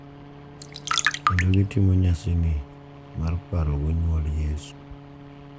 Kendo gitimo nyasini mar parogo nyuol Yesu.